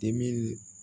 Dimin